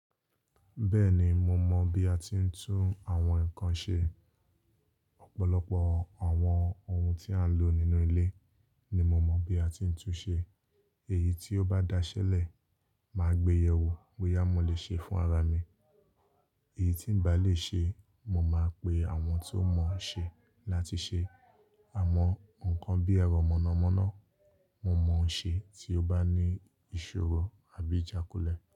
Bẹ́ẹ̀ni mo mọ̀ bí a ti ń tún àwọn nǹkan ṣe. Ọ̀pọ̀lọpọ̀ àwọn ohun tí à ń lò nínú ilé ni mo mọ̀ bí a ti ń tún ṣe. Èyí tí ó bá daṣẹ́lẹ̀, màá gbé yẹ̀ wò, bóyá mo lè ṣe fún ara mi. Èyí tí ń bá lè ṣe, mo máa pe àwọn tó mọ̀ ọ́n ṣe láti ṣe. Àmọ́ nǹkan bí ẹ̀rọ mọ̀nàmọ́ná, mo mọ ohun ṣe tí ó bá ní ìṣòro àbí ìjákulẹ̀